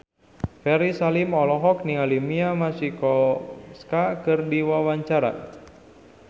Ferry Salim olohok ningali Mia Masikowska keur diwawancara